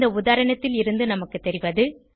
இந்த உதாரணத்திலிருந்து நமக்கு தெரிவது